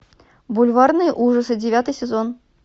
бульварные ужасы девятый сезон